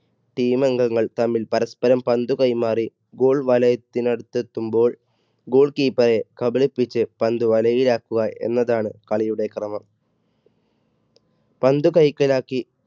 team അംഗങ്ങൾ തമ്മിൽ പരസ്പരം പന്ത് കൈമാറി goal വലയത്തിന് അടുത്തെത്തുമ്പോൾ goal keeper റെ കബളിപ്പിച്ച് പന്ത് വലയിലാക്കുക എന്നതാണ് കളിയുടെ ക്രമം. പന്ത് കൈക്കലാക്കി.